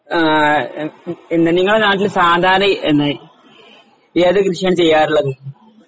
ആഹ് ഏഹ് ഏഹ് നിങ്ങളുടെ നാട്ടില് സാധാരണ പിന്നെ ഏത് കൃഷിയാണ് ചെയ്യാറുള്ളത്?